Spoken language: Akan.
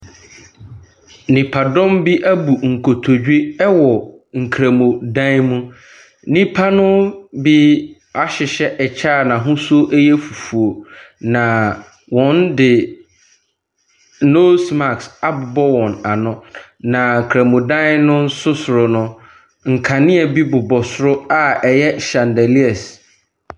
Nipadɔm bi abu nkotodwe wɔ nkramodan mu. Nnipa no bi ahyehyɛ ɛkyɛ a n'ahosuo yɛ fufuo. Na wɔde Nose mask abobɔ wɔn ano. Na kramodan no nso soro no, nkanea bi bobɔ soro a ɛyɛ shandelias.